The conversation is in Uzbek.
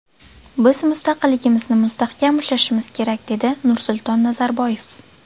Biz mustaqilligimizni mustahkam ushlashimiz kerak”, dedi Nursulton Nazarboyev.